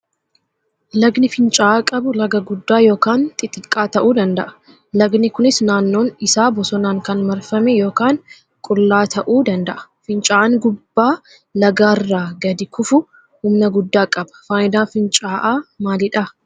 Lagni fincaa'aa qabu laga guddaa yookaan xixiqqaa ta'uu danda'a. Lagni kunis naannoon isaa bosonaan kan marfame yookaan qullaa ta'uu danda'a. Fincaa'aan gubbaa lagaarraa gadi kufu humna guddaa qaba. Fayidaan fincaa'aa maalidha?